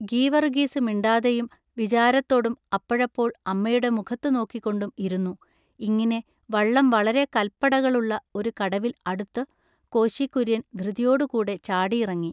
ഗിവറുഗീസു മിണ്ടാതെയും വിചാരത്തൊടും അപ്പഴപ്പോൾ അമ്മയുടെ മുഖത്തു നോക്കിക്കൊണ്ടും ഇരുന്നു ഇങ്ങിനെ വള്ളം വളരെ കല്പടകളുള്ള ഒരു കടവിൽ അടുത്തു കോശികുൎയ്യൻ ധൃതിയോടു കൂടെ ചാടി ഇറങ്ങി.